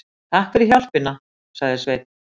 Takk fyrir hjálpina, sagði Sveinn.